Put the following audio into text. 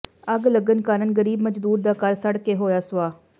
ਅੱਗ ਲੱਗਣ ਕਾਰਨ ਗਰੀਬ ਮਜ਼ਦੂਰ ਦਾ ਘਰ ਸੜ ਕੇ ਹੋਇਆ ਸੁਆਹ